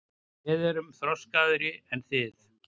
Við erum þroskaðri en þið.